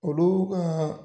Olu kaa